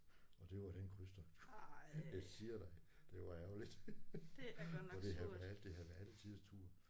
Og det var den krydstogt. Jeg siger dig det var ærgerligt for det havde været det havde været alle tiders tur